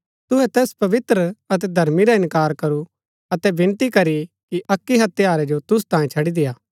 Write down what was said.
तुहै तैस पवित्र अतै धर्मी रा इन्कार करू अतै विनती करी की अक्की हत्यारै जो तुसु तांयें छड़ी देय्आ